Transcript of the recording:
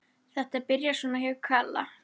Þetta byrjaði svona hjá Kalla.